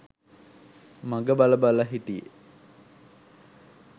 මඟ බල බල හිටියෙ